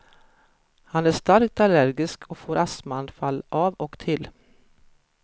Han är starkt allergisk och får astmaanfall av och till.